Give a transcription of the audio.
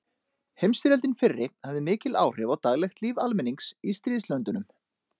Heimsstyrjöldin fyrri hafði mikil áhrif á daglegt líf almennings í stríðslöndunum.